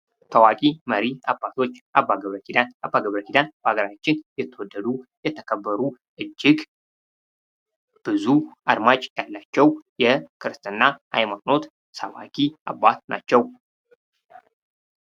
ታዋቂ መሪ አባቶች አባ ገብረኪዳን በሃገራችን የተወደዱ ፣የተከበሩ እጅግ አድማጭ ያላቸው የክርስትና ሐይማኖት ሰባኪ አባት ናቸው።